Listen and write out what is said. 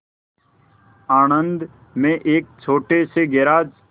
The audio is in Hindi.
आणंद में एक छोटे से गैराज